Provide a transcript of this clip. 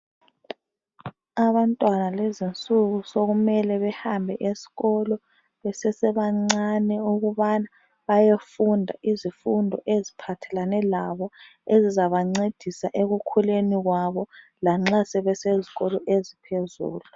Abantwana kulezinsuku sokumele behambe esikolo besesebancane ukubana bayefunda izifundo eziphathelane labo ezizabancedisa ekukhuleni kwabo lanxa sebesezikolo eziphezulu.